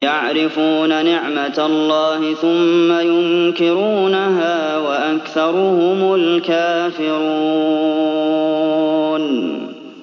يَعْرِفُونَ نِعْمَتَ اللَّهِ ثُمَّ يُنكِرُونَهَا وَأَكْثَرُهُمُ الْكَافِرُونَ